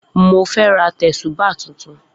Mo fẹ́ ra tẹ̀sùbáà tuntun.